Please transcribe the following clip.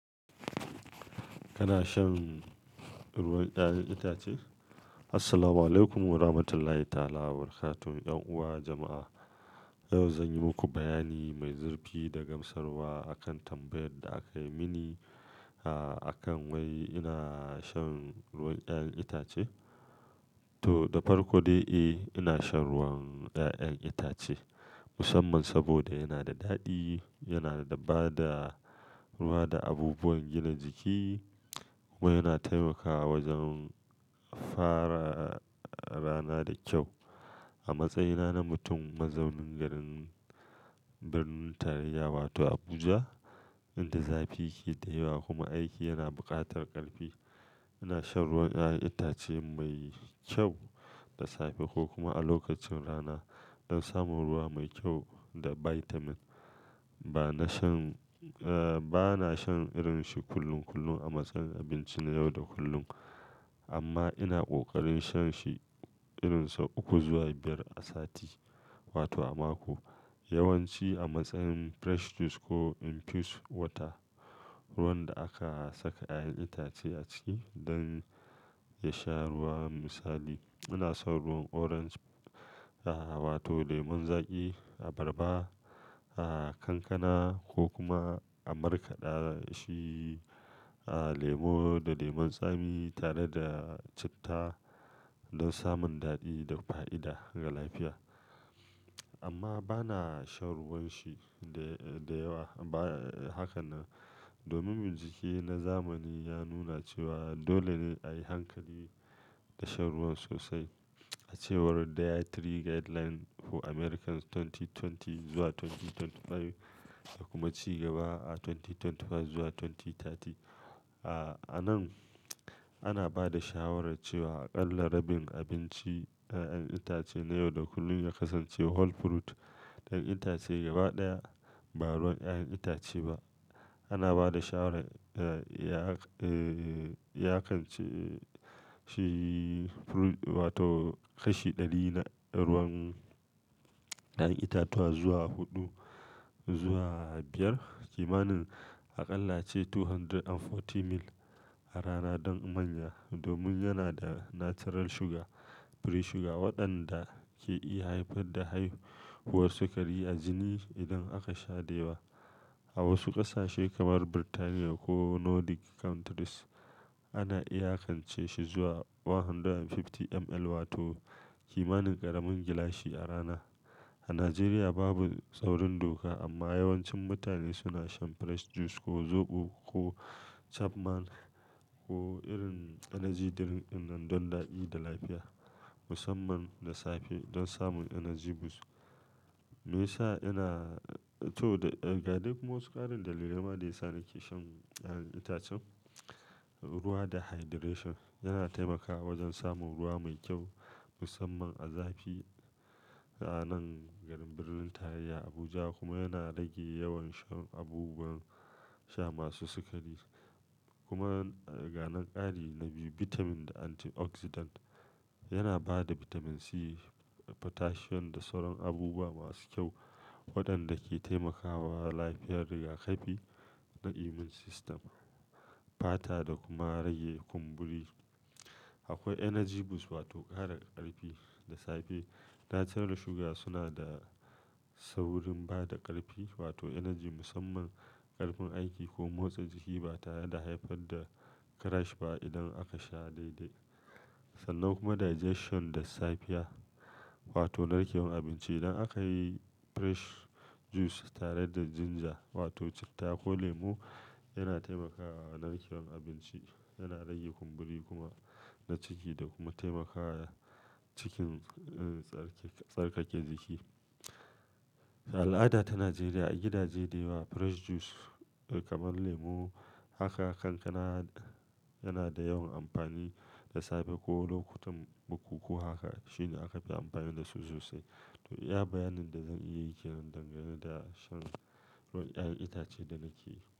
Kana shan ruwan 'ya'yan itace? Assalamualaikum Warahmatullahi Wabarakatuh. 'Yan uwa jama'a, yau zan yi muku bayani mai zurfi da gamsarwa a kan tambayar da aka yi mini, ah, a kan wai ina shan ruwan 'ya'yan itace. To, da farko dai, eh, ina shan ruwan ƴaƴan itace musamman saboda yana da daɗi, yana ba da ruwa da abubuwan gina jiki kuma yana taimakawa wajen fara rana da kyau. A matsayina na mutum mazaunin garin Birnin Taliya wato Abuja, inda zafi ke da yawa kuma aiki yana buƙatar ƙarfi, ina shan ruwan 'ya'yan itace mai kyau da safe ko kuma a lokacin rana don samun ruwa mai kyau da bitamin. Ba na shan, ah, ba na shan irin shi kullum kullum a matsayin abinci na yau da kullun amma ina ƙoƙarin shan shi irin so uku zuwa biyar a sati wato a mako. Yawan ci a matsayin fresh juice ko infused water, ruwan da aka saka 'ya'yan itace a ciki don ya sha ruwa. Misali, ina son ruwan orange, ah, wato lemun zaƙi abarba, ah, kankana ko kuma a markaɗa shi, ah, lemu da lemun tsami tare da citta don samun daɗi da fa'ida ga lafiya. Amma ba na shan ruwan shi da, da yawa ba. Haka na domin mijiki na zamani ya nuna cewa dole ne a yi hankali da shan ruwan sosai. A cewar Dietary Guidelines for Americans dubu biyu da ashirin zuwa dubu biyu da ashirin da biyar da kuma ci gaba a dubu biyu da ashirin da biyar zuwa dubu biyu da talatin, ah, a nan ana ba da shawarar cewa a ƙalla rabin abinci ƴaƴan itace na yau da kullun ya kasance whole fruit, ɗan itace gaba ɗaya ba ruwan ƴaƴan itace ba. Ana ba da shawarar, ah, ya, eh, yakance shi fruit wato kashi ɗari na ruwan ƴaƴan itatuwa zuwa huɗu zuwa biyar, kimanin a ƙalla ce ɗari biyu da arba'in mil a rana don amanya domin yana da natural sugar, free sugar waɗanda ke iya haifar da haihuwar sikari a jini idan aka sha da yawa. A wasu ƙasashe kamar Birtaniya ko Nordic countries ana iya yakance shi zuwa ɗari da hamsin mil wato kimanin ƙaramin gilashi a rana. A Najeriya babu tsaurin doka amma yawancin mutane suna shan fresh juice ko zoɓo ko Chapman ko irin energy drink wan don daɗi da lafiya musamman da safe don samun energy boost. Me yasa ina-- to ga duk masu ƙarin dalilai ma da yasa nake shan 'ya'yan itacen. Ruwa da hydration yana taimakawa wajen samun ruwa mai kyau musamman a zafi a nan garin Birnin Tarayya Abuja kuma yana rage yawan shan abubuwan sha masu sikari. Kuma ga ƙarin dalili bitamin da antioxidant yana ba da bitamin C, potassium da sauran abubuwa masu kyau waɗanda ke taimakawa lafiyar rigakafi na immune system, fata da kuma rage kumburi. Akwai energy boost wato ƙara ƙarfi da safe. Natural sugar suna da saurin ba da ƙarfi wato energy musamman ƙarfin aiki ko motsa jiki ba ta da haifar da crash ba idan aka sha daidai. Sannan kuma digestion da safiya wato narkewar abinci. Idan aka yi fresh juice tare da ginger wato citta ko lemu yana taimakawa narkewar abinci, yana rage kumburi kuma na ciki da kuma taimakawa cikin, ah, tsarkake jiki. A al'ada ta Najeriya a gidaje da yawa fresh juice kamar lemu haka kankana yana da yawan amfani da safe ko lokutan bukuku haka shine aka fi amfani da su sosai. To iya bayanin da zan iya yi ke dangane da shan ruwan 'ya'yan itace da nake yi.